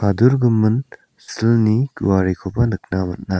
silni guarikoba nikna man·a.